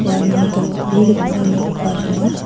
uano dal·begipa nokba donga.